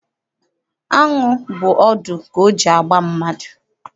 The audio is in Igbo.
Aṅụ bụ ọdụ ka o ji agba mmadụ.